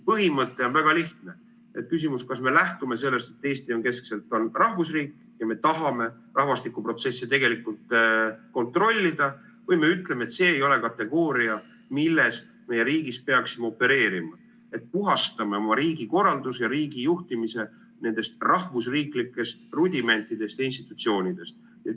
Põhimõte on väga lihtne: küsimus, kas me lähtume sellest, et Eesti on rahvusriik, ja tahame rahvastikuprotsesse tegelikult kontrollida, või me ütleme, et see ei ole kategooria, milles me riigis peaksime opereerima, et puhastame oma riigikorralduse ja riigi juhtimise nendest rahvusriiklikest rudimentidest ja institutsioonidest.